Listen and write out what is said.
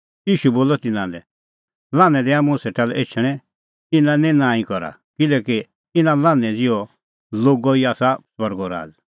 ईशू बोलअ तिन्नां लै लान्हैं दैआ मुंह सेटा लै एछणैं इना लै निं नांईं करा किल्हैकि इना लान्हैं ज़िहै लोगो ई आसा स्वर्गो राज़